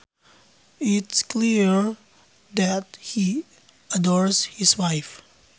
It is clear that he adores his wife